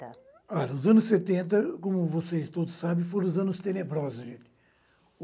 Ah, dos anos setenta, como vocês todos sabem, foram os anos tenebrosos, gente.